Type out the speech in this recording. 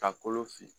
Ka kolo fili